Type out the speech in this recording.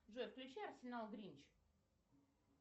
джой включи арсенал гринч